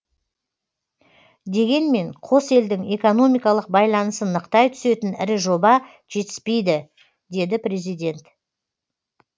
дегенмен қос елдің экономикалық байланысын нықтай түсетін ірі жоба жетіспейді деді президент